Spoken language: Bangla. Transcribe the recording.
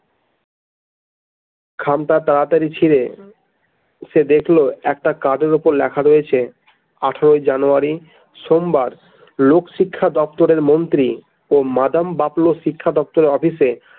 খামটা তাড়াতাড়ি ছিঁড়ে সে দেখল একটা কার্ডের উপর লেখা রয়েছে আঠারোই জানুয়ারী সোমবার লোকশিক্ষা দপ্তরের মন্ত্রী ও মাদাম বাপলো শিক্ষা দপ্তরের office এ।